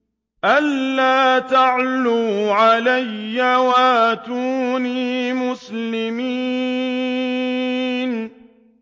أَلَّا تَعْلُوا عَلَيَّ وَأْتُونِي مُسْلِمِينَ